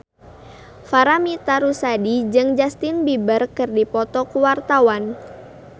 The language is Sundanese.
Paramitha Rusady jeung Justin Beiber keur dipoto ku wartawan